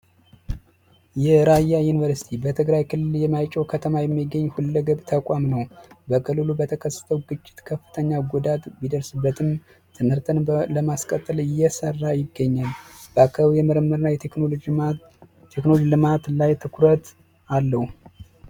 የራያ ዩኒቨርስቲ በትግራይ ክልል የማይጨው ከተማ የሚገኝ ሁለገብ ተቋም ነው። በክልሉ በተከሰተው ግጭት ከፍተኛ ጉዳት ቢደርስበትም ትምህርትን ለማስቀጠል እየሰራ ይገኛል። በአካባቢው የምርምር እና የቴክኖሎጂ ትኩረት አለው።